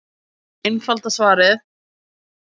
Einfalda svarið